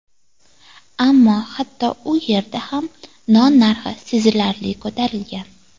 Ammo hatto u yerda ham non narxi sezilarli ko‘tarilgan.